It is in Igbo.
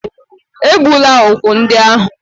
Egbula úkwù ndị ahụ